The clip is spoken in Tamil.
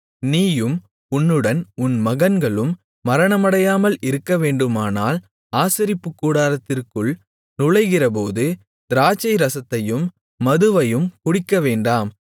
நீயும் உன்னுடன் உன் மகன்களும் மரணமடையாமல் இருக்கவேண்டுமானால் ஆசரிப்புக்கூடாரத்திற்குள் நுழைகிறபோது திராட்சை ரசத்தையும் மதுவையும் குடிக்கவேண்டாம்